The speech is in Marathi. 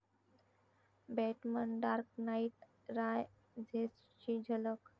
बॅटमन 'डार्क नाइट रायझेस'ची झलक